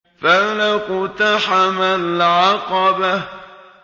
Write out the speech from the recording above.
فَلَا اقْتَحَمَ الْعَقَبَةَ